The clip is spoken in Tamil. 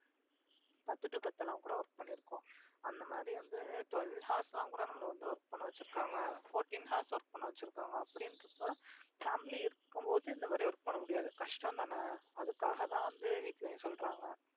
பத்து to பத்து எல்லாம் கூட work பண்ணியிருக்கோம் அந்த மாதிரி வந்து twelve hours எல்லாம் கூட நம்மளை வந்து work பண்ண வச்சிருக்காங்க fourteen hours work பண்ண வச்சிருக்காங்க அப்படின்றப்ப family இருக்கும்போது இந்த மாதிரி work பண்ண முடியாது கஷ்டம்தானே அதுக்காகதான் வந்து வீட்டிலேயும் சொல்றாங்க